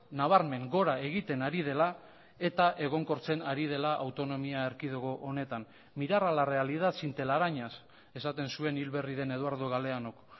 nabarmen gora egiten ari dela eta egonkortzen ari dela autonomia erkidego honetan mirar a la realidad sin telarañas esaten zuen hil berri den eduardo galeanok